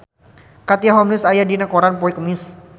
Katie Holmes aya dina koran poe Kemis